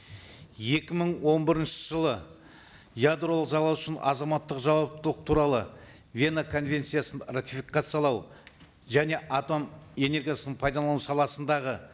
екі мың он бірінші жылы ядролық залал үшін азаматтық жауаптылық туралы вена конвенциясын ратификациялау және атом энергиясын пайдалану саласындағы